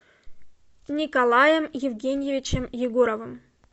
николаем евгеньевичем егоровым